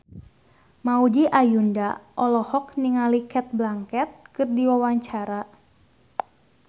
Maudy Ayunda olohok ningali Cate Blanchett keur diwawancara